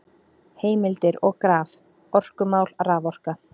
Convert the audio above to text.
Heimildir og graf: Orkumál- Raforka.